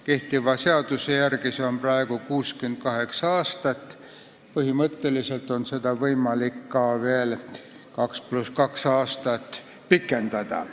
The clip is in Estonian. Kehtiva seaduse järgi on see praegu 68. eluaasta, millest alates on põhimõtteliselt võimalik kohtunikuna töötamist veel 2 + 2 aastat pikendada.